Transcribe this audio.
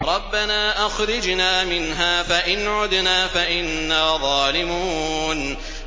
رَبَّنَا أَخْرِجْنَا مِنْهَا فَإِنْ عُدْنَا فَإِنَّا ظَالِمُونَ